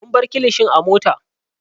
Mun bar kilishin a mota.